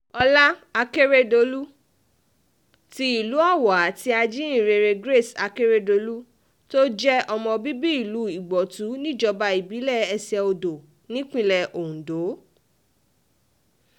ọlá akérèdọ́lù ti ìlú owó àti ajíhìnrere grace akérèdọ́lù tó jẹ́ ọmọ bíbí ìlú ìgbótú níjọba ìbílẹ̀ ẹsẹ-odò nípínlẹ̀ ondo